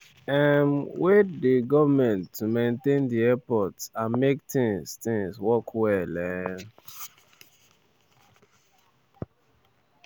um wey dey goment to maintain di airports and make tins tins work well. um